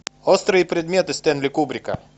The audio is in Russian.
острые предметы стэнли кубрика